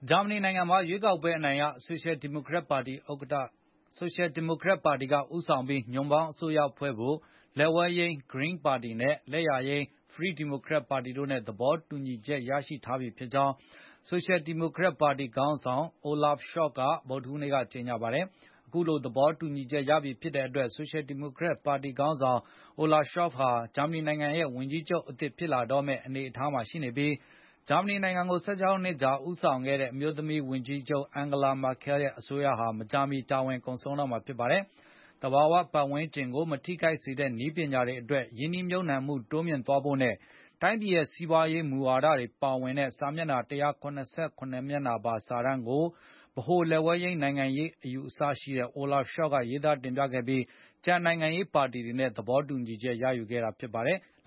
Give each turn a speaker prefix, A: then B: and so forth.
A: ဂျာမနီနိုင်ငံမှာ ရွေးကောက်ပွဲအနိုင်ရ ဆိုရှယ်ဒီမိုကရက်ပါတီက ဦးဆောင်ပြီး ညွန့်ပေါင်းအစိုးရဖွဲ့ဖို့ လက်ဝဲယိမ်း Green ပါတီ၊ လက်ယာယိမ်း Free Democrats ပါတီတွေနဲ့ သဘောတူညီချက် ရထားပြီဖြစ်ကြောင်း ဆိုရှယ်ဒီမိုကရက်ပါတီ ခေါင်းဆောင် Olaf Scholz က ဗုဒ္ဓဟူးနေ့က ကြေငြာပါတယ်။ အခုလို သဘောတူညီချက် ရပြီဖြစ်တဲ့အတွက် ဆိုရှယ်ဒီမိုကရက်ပါတီခေါင်းဆောင် Olaf Scholz ဟာ ဂျာမဏီနိုင်ငံရဲ့ဝန်ကြီးချုပ်အသစ် ဖြစ်လာတော့မယ့် အနေအထားမှာ ရှိနေပြီး၊ ဂျာမဏီကို ၁၆ နှစ်ကြာ ဦးဆောင်ခဲ့တဲ့ အမျိုးသမီးဝန်ကြီးချုပ် Angela Merkel ရဲ့အစိုးရဟာ မကြာမီ သက်တမ်း ကုန်ဆုံးတော့မှာ ဖြစ်ပါတယ်။ သဘာ၀ ပတ်ဝန်းကျင်ကို မထိခိုက်စေတဲ့ နည်းပညာတွေအတွက် ရင်းနှီးမြှပ်နှံမှု တိုးမြှင့်သွားဖို့နဲ့ တိုင်းပြည်ရဲ့စီးပွားရေးမူဝါဒတွေ ပါဝင်တဲ့ စာမျက်နှာ ၁၇၇ မျက်နှာပါ စာတမ်းကို Olaf Scholz က ရေးသားတင်ပြခဲ့ပြီး ကျန်နိုင်ငံရေးပါတီတွေနဲ့ သဘောတူညီချက် ရယူခဲ့တာ ဖြစ်ပါတယ်။